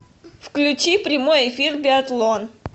включи прямой эфир биатлон